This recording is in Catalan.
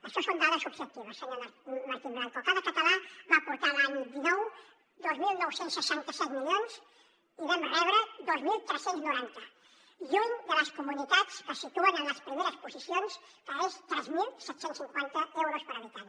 això són dades objectives senyor martín blanco cada català va aportar l’any dinou dos mil nou cents i seixanta set milions i vam rebre’n dos mil tres cents i noranta lluny de les comunitats que se situen en les primeres posicions que és tres mil set cents i cinquanta euros per habitant